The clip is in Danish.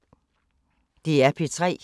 DR P3